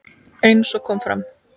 Eins og kom fram